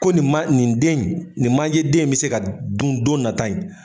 Ko nin ma nin den ye, nin manje den yen bɛ se ka dun don nata yen